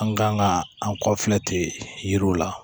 An kan ka an kɔ filɛ ten yiriw la